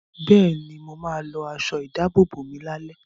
Bẹ́ẹ̀ni, mo ma lọ aṣọ ìdábòbò mi lálẹ́